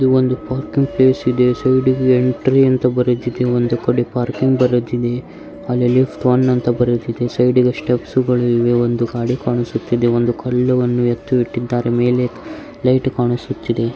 ಇನ್ನೊಂದು parking place ಇದೆ entry ಅಂತ ಬರೆದಿದೆ ಎಲ್ಲೆಲ್ಲಿ ಫನ್ ಅಂತ ಬರೆದಿದೆ ಸೈಡಿಗೆ ಸ್ಟೆಪ್ಸ್ ಗಳಿವೆ ಒಂದುಗಾಡಿ ಕಾಣಿಸುತ್ತಿದೆ ಸೈಡ್ಗೆ ಒಂದು ಕಲ್ಲು ಇಟ್ಟಿದಾರೆ ಮೇಲೆ ಲೈಟ್ ಕಾಣಿಸುತ್ತಿದೆ.